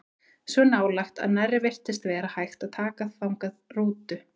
Svo nálægt að nærri virtist vera hægt að taka þangað rútu.